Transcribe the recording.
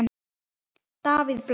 Davíð Bless.